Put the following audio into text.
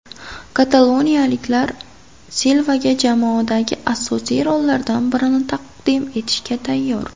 Kataloniyaliklar Silvaga jamoadagi asosiy rollardan birini taqdim etishga tayyor.